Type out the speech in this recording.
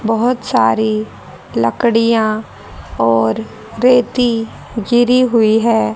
बहोत सारी लड़कियां और रेती गिरी हुई है।